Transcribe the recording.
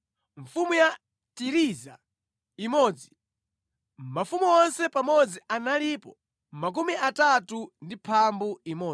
mfumu ya Tiriza imodzi mafumu onse pamodzi analipo 31. Mayiko Otsala Oyenera Kulandidwa